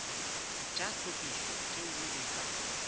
tša tlhwekišo tšeo di sa